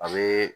A bɛ